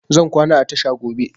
Zan kwana a tasha gobe